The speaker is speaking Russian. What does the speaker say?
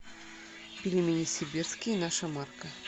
пельмени сибирские наша марка